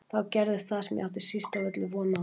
Þá gerðist það sem ég átti síst af öllu von á.